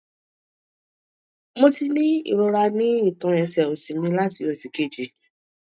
mo ti ní irora ni itan ẹsẹ osi mi lati osu keji